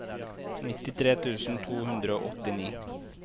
nittitre tusen to hundre og åttini